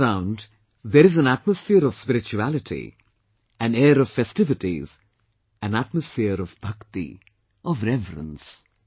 All around there is an atmosphere of spirituality, an air of festivities, an atmosphere of bhakti, of reverence